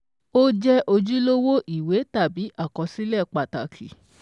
Ó jẹ́ ojúlówó ìwé tàbí àkọsílẹ̀ pàtàkì